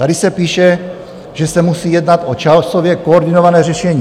Tady se píše, že se musí jednat o časově koordinované řešení.